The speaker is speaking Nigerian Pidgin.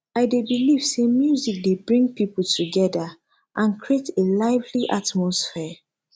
i dey believe say music dey bring people together and create a lively atmosphere